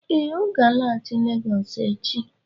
Ee, ọ ga-alaghachi Legọs echi